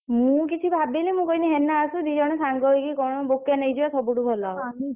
ମୁଁ କିଛି ଭାବିନି ମୁଁ କହିଲି ହେନା ଆସୁ ଦି ଜଣ ସାଙ୍ଗ ହେଇକି କଣ bouquet ନେଇଯିବା ସବୁଠୁ ଭଲ ହବ।